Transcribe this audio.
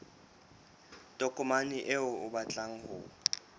tokomane eo o batlang ho